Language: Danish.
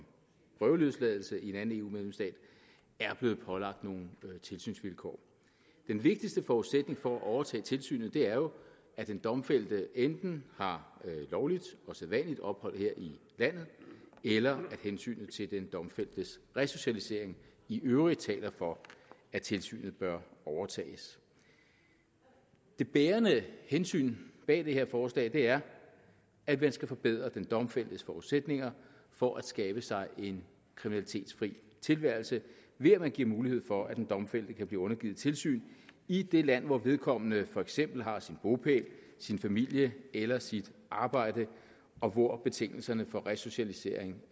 prøveløsladelse i en anden eu medlemsstat er blevet pålagt nogle tilsynsvilkår den vigtigste forudsætning for at overtage tilsynet er jo at den domfældte enten har lovligt og sædvanligt ophold her i landet eller at hensynet til den domfældtes resocialisering i øvrigt taler for at tilsynet bør overtages det bærende hensyn bag det her forslag er at man skal forbedre den domfældtes forudsætninger for at skabe sig en kriminalitetsfri tilværelse ved at man giver mulighed for at den domfældte kan blive undergivet tilsyn i det land hvor vedkommende for eksempel har sin bopæl sin familie eller sit arbejde og hvor betingelserne for resocialisering